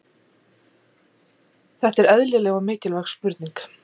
Þetta er eðlileg og mikilvæg spurning.